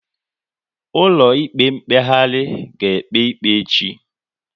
Ụlọ ikpe mkpeghari a ga ekpe ikpe echi?